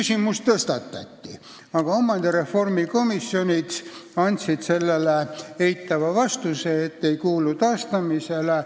Kirikuhoonet taotleti tagasi, aga omandireformi komisjonid andsid sellele eitava vastuse: ei kuulu tagastamisele.